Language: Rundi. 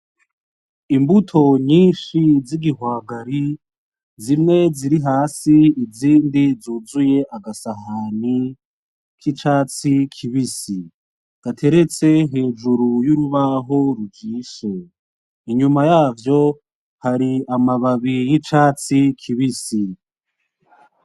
Imbuto nyinshi z'igihwagari zimwe ziri hasi izindi zuzuye agasahani kicatsi kibisi gateretse hejuru y'urubaho rujishe inyuma yavyo hari amababi y'icatsi kibisi.